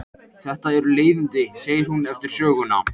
Þetta eru leiðindi, segir hún eftir söguna.